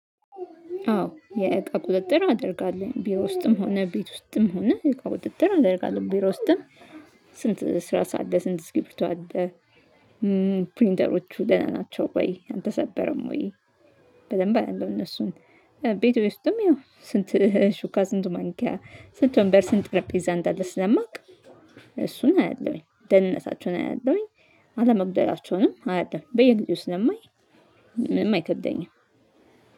አዎ የእቃ ቁጥጥር አደርጋለሁ ቢሮ ውስጥም ሆነ ቤት ውስጥም ሆነ የእቃ ቁጥጥር አደርጋለሁ ቢሮ ውስጥም። ስንት እስራስ አለ? ስንት እስክሪብቶ አለ? ፕሪንተሮቹ ደህና ናቸው ወይ አልተሰበረም ወይ? በደንብ አያለው እነሱን። ቤቴ ውስጥም ያው ስንት ሹካ ስንት ማንኪያ ስንት ወንበር ስንት ጠረጴዛ እንደለ ስለማውቅ እሱን አያለሁኝ ደህንነታቸውን አያለሁኝ አለመጉደላቸውንም አያለው በየጊዜው ስለማይ። ምንም አይከብደኝም